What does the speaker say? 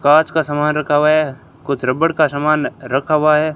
कांच का सामान रखा हुआ है कुछ रबड़ का सामान रखा हुआ है।